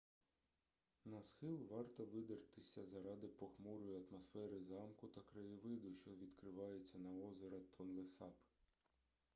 на схил варто видертися заради похмурої атмосфери замку та краєвиду що відкривається на озеро тонлесап